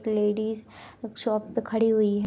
एक लेडीज़ एक शॉप पे खड़ी हुई है।